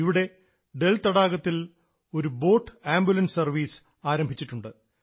ഇവിടെ ഡൽ തടാകത്തിൽ ഒരു ബോട്ട് ആംബുലൻസ് സർവ്വീസ് ആരംഭിച്ചിട്ടുണ്ട്